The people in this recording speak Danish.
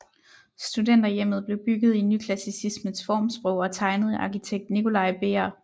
Studenterhjemmet blev bygget i nyklassisismens formsprog og tegnet af arkitekt Nicolai Beer